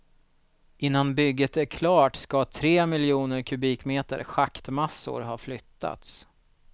Innan bygget är klart ska tre miljoner kubikmeter schaktmassor ha flyttats.